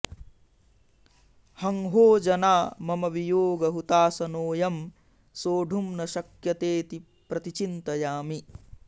हंहोजना मम वियोगहुताशनो ऽयं सोढुं न शक्यतेति प्रतिचिन्तयामि